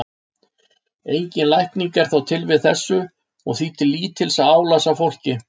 Engin lækning er þó til við þessu og því til lítils að álasa fólki.